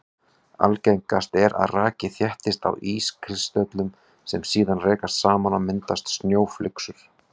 Algengast er að raki þéttist á ískristöllum sem síðan rekast saman og mynda snjóflyksur.